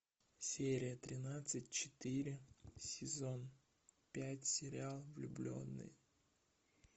серия тринадцать четыре сезон пять сериал влюбленные